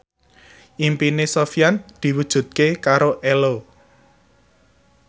impine Sofyan diwujudke karo Ello